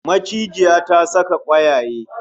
Macijiya ta saka kwayaye